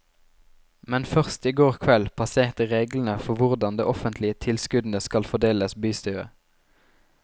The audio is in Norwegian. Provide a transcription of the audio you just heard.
Men først i går kveld passerte reglene for hvordan de offentlige tilskuddene skal fordeles bystyret.